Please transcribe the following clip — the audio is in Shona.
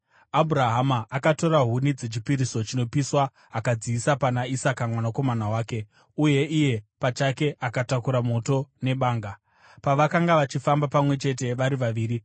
Abhurahama akatora huni dzechipiriso chinopiswa akadziisa pana Isaka mwanakomana wake, uye iye pachake akatakura moto nebanga. Pavakanga vachifamba pamwe chete vari vaviri,